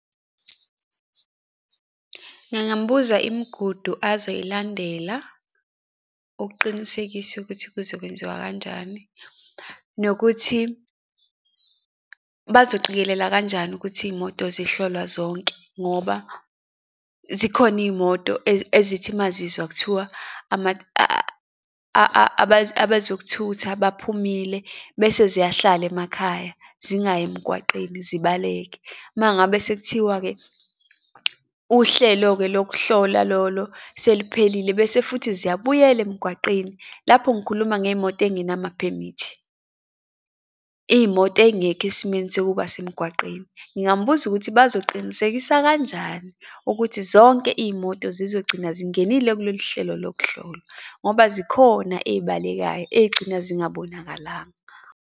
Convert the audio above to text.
Ngingambuza imigudu azoyilandela ukuqinisekisa ukuthi kuzokwenziwa kanjani, nokuthi bazoqikelela kanjani ukuthi iy'moto zihlolwa zonke, ngoba zikhona iy'moto ezithi mazizwa kuthiwa abezokuthutha baphumile, bese ziyahlala emakhaya zingayi emgwaqeni zibaleke. Uma ngabe sekuthiwa-ke uhlelo-ke lokuhlola lolo seliphelile, bese futhi ziyabuyela emgwaqeni. Lapho ngikhuluma ngey'moto ey'ngenamaphemithi, iy'moto ey'ngekho esimeni sokuba semgwaqeni. Ngingambuza ukuthi bazoqinisekisa kanjani ukuthi zonke iy'moto zizogcina zingenile kulolu hlelo lokuhlolwa, ngoba zikhona eyibalekayo, eyigcina zingabonakalanga.